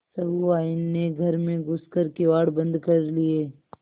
सहुआइन ने घर में घुस कर किवाड़ बंद कर लिये